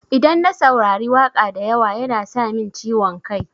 Idan na saurari waƙa da yawa yana sa min ciwon kai.